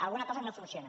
alguna cosa no funciona